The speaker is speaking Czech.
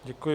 Děkuji.